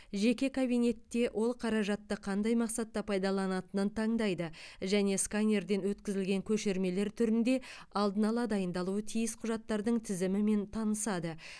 жеке кабинетте ол қаражатты қандай мақсатта пайдаланатынын таңдайды және сканерден өткізілген көшірмелер түрінде алдын ала дайындалуы тиіс құжаттардың тізімімен танысады